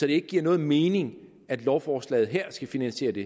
det ikke giver nogen mening at lovforslaget her skal finansiere det